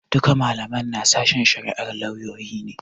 Duka malaman na sashen shari'ar lauyoyi ne.